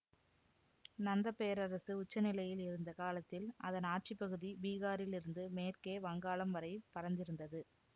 நந்த பேரரசு உச்ச நிலையில் இருந்த காலத்தில் அதன் ஆட்சிப்பகுதி பீகாரில் இருந்து மேற்கே வங்காளம் வரை பரந்திருந்தது